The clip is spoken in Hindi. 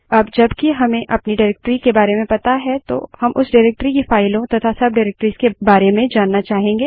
अब जब कि हमें अपनी डाइरेक्टरी के बारे में पता है तो हम उस डाइरेक्टरी की फाइलों तथा सब डाइरेक्टरीज़ के बारे में जानना चाहेंगे